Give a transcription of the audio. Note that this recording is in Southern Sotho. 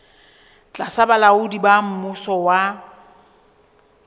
tlasa bolaodi ba mmuso wa